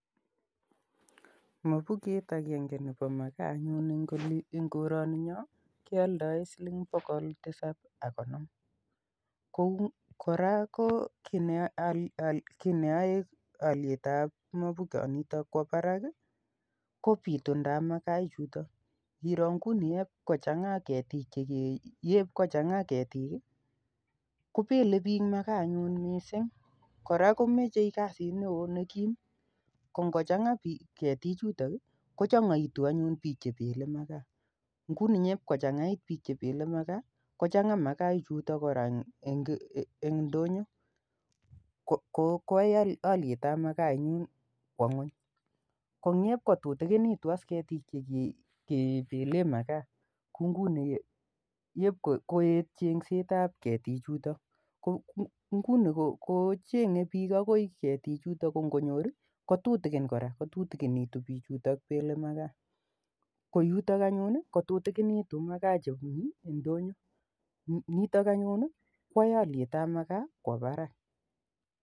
Mafuket akenge nepa makaa anyun eng' oli, karaninyo kealdai siling pokol tisap ak konom. Kora ki neyae aliet ap mafukoniton kowa parak ko pitundap makaa ichutok. Ngiro nguni yep kochang'a ketik kopele piik makaa anyun missing'. Kora ko mache kasit neo be kiim . Ko ngo chang'a ketichutok i kochang'aitu anyun piik che pele makaa. Ndep kochang'aitu piik che pele makaa, kochang'aa makaa ichutok eng' ndonyo koyai aliet ap makaa kowa ng'uny. Ko ndep kotutikinitu as ketik che ke pele makaa, koet cheng'set ap ketichutok ko nguni kocheneng'e piik akoi ketichutok ko ngonyor i, kotutikin kora, kotutikinitu pichutok pele makaa. Ko yutok anyun i, ko tutikinitu makaa che mi ndonyo nitok anyun koyai aliet nepa makaa kowa parak.